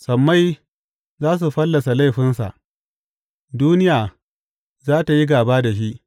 Sammai za su fallasa laifinsa; duniya za tă yi gāba da shi.